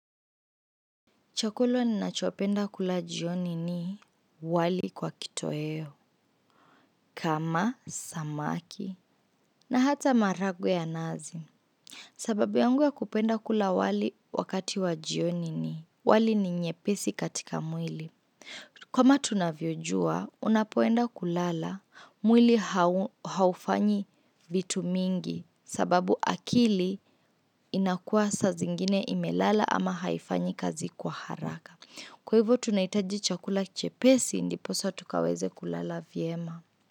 Chakula ni nachopenda kula jioni ni wali kwa kitoweo, kama samaki, na hata maharagwe ya nazi. Sababu yangu ya kupenda kula wali wakati wa jioni ni wali ni nyepesi katika mwili. Kama tunavyojua, unapoenda kulala, mwili haufanyi vitu mingi, sababu akili inakua sa zingine imelala ama haifanyi kazi kwa haraka. Kwa hivyo tunahitajicha kula chepesi ndiposa tukaweze kulala vyema.